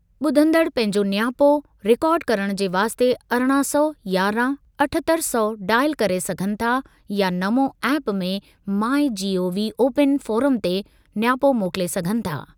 ॿुधंदड़ पंहिंजो नियापो रिकॉर्ड करणु जे वास्ते अरिड़हं सौ, यारहं, अठहतरि सौ, डॉयल करे सघनि था या नमो ऐप ऐं माई जीओवी ओपन फ़ोरम ते नियापो मोकिले सघनि था।